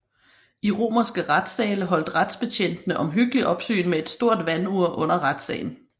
I romerske retssale holdt retsbetjentene omhyggeligt opsyn med et stort vandur under retssagen